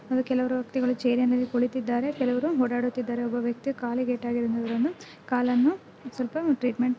ಅಲ್ಲ ಕೆಲವರು ವ್ಯಕ್ತಿಗಳು ಚೇರಿ ನಲ್ಲಿ ಕುಳಿತಿದ್ದಾರೆ ಕೆಲವರು ಓಡಾಡುತ್ತಿದ್ದಾರೆ ಒಬ್ಬ ವ್ಯಕ್ತಿ ಕಾಲಿಗೆ ಏಟಾಗಿರುವುದನ್ನು ಕಾಲನ್ನು ಸ್ವಲ್ಪ ಟ್ರೀಟ್ಮೆಂಟ್ --